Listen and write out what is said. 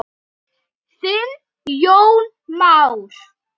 Þinn Jón Már.